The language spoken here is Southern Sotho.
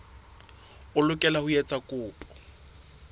o lokela ho etsa kopo